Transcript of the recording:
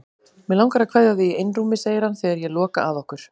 Mig langar að kveðja þig í einrúmi, segir hann þegar ég loka að okkur.